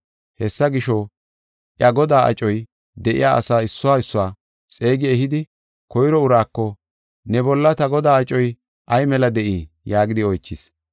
“Hessa gisho, iya godaa acoy de7iya asaa issuwa issuwa xeegi ehidi koyro uraako, ‘Ne bolla ta godaa acoy ay meli de7ii?’ yaagidi oychis.